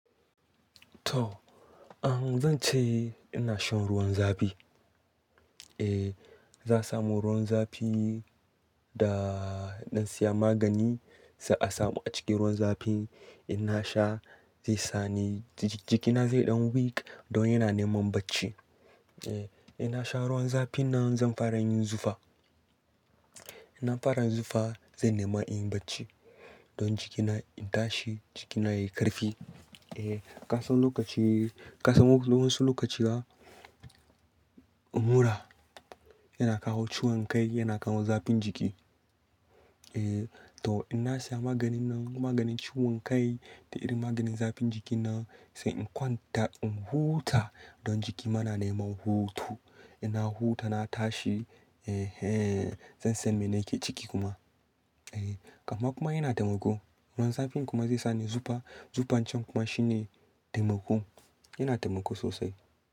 To, zan ce ina shan ruwan zafi. Eh, za su samo ruwan zafi da na siya magani sai a samu a cikin ruwan zafi ina sha zai sa ni jikina zai yi ɗan weak don yana neman bacci. Eh, ina sha ruwan zafi nan zan fara yin zufa. Ina fara zufa zai nema in yi bacci. Don jikina in tashi jikina yayi ƙarfi. Eh, kasan lokaci, kasan wasu lokaci ma mura yana kawo ciwon kai, yana kawo zafin jiki. Eh to ina siya maganin nan, maganin ciwon kai da irin maganin zafin jiki nan sai in kwanta in huta don jiki ma na neman hutu. Inna huta na tashi, eh hen zan san mene yake ciki kuma. Eh, kamma kuma yana taimako. Ruwan zafi kuma zai sa ni zufa. Zufancin kuma shine taimako, yana taimako sosai.